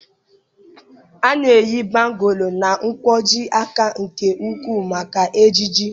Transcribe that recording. A na-eyi bangụ́lụ na nkwojiaka nke ukwuu maka ejiji